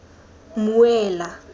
mmuela